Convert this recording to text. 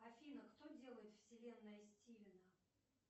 афина кто делает вселенная стивена